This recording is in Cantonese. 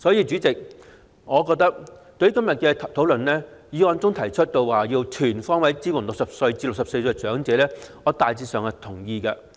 主席，對於今天討論的議案中提出"全方位支援60歲至64歲長者"，我大致上表示贊同。